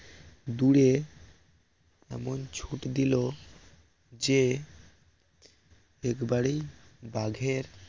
দূরে এমন ছুট দিল যে একবারেই বাঘের